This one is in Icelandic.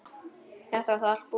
Þetta var þá allt búið.